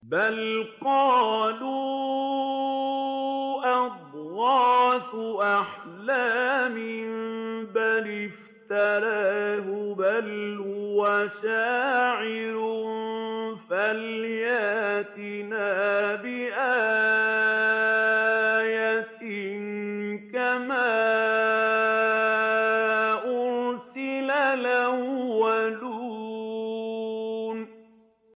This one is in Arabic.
بَلْ قَالُوا أَضْغَاثُ أَحْلَامٍ بَلِ افْتَرَاهُ بَلْ هُوَ شَاعِرٌ فَلْيَأْتِنَا بِآيَةٍ كَمَا أُرْسِلَ الْأَوَّلُونَ